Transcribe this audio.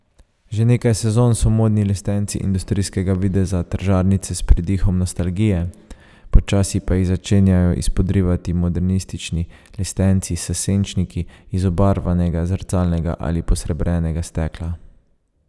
Že nekaj sezon so modni lestenci industrijskega videza ter žarnice s pridihom nostalgije, počasi pa jih začenjajo izpodrivati modernistični lestenci s senčniki iz obarvanega, zrcalnega ali posrebrenega stekla.